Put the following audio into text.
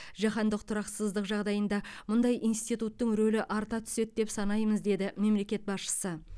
жаһандық тұрақсыздық жағдайында мұндай институттың рөлі арта түседі деп санаймыз деді мемлекет басшысы